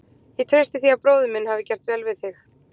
Ég treysti því að bróðir minn hafi gert vel við þig.